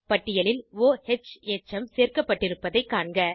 பட்டியலில் o ஹ் எச்சம் சேர்க்கப்பட்டிருப்பதைக் காண்க